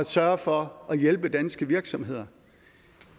sørge for at hjælpe danske virksomheder